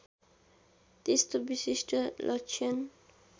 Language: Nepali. त्यस्तो विशिष्ट लक्षण